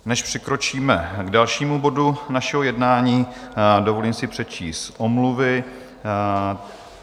Než přikročíme k dalšímu bodu našeho jednání, dovolím si přečíst omluvy.